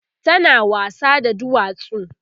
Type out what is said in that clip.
tana wasa da duwatsu